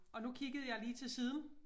Og nu kiggede jeg lige til siden